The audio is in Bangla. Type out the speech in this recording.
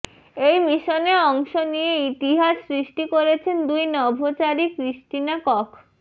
এই মিশনে অংশ নিয়ে ইতিহাস সৃষ্টি করেছেন দুই নভোচারী ক্রিস্টিনা কখ্